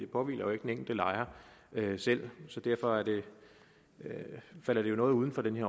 påhviler den enkelte lejer selv så derfor falder det jo noget uden for den